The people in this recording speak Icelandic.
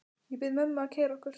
Ég bið mömmu að keyra okkur.